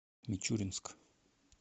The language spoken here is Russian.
мичуринск